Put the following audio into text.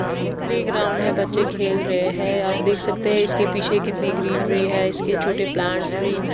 ये एक प्लेग्राउंड है बच्चे खेल रहे हैं आप देख सकते हैं इसके पीछे कितने ग्रीनरी है इसके छोटे प्लांट्स ग्रीन --